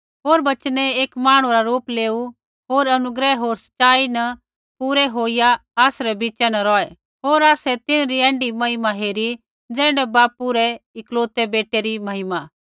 होर बचनै एक मांहणु रा रूप लेऊ होर अनुग्रह होर सच़ाई न पूरै होईया आसरै बिच़ा न रौहै होर आसै तिन्हरी ऐण्ढी महिमा हेरी ज़ैण्ढी बापू रै एकलौते बेटै री महिमा